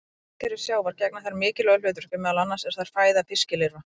Í vistkerfi sjávar gegna þær mikilvægu hlutverki, meðal annars eru þær fæða fiskilirfa.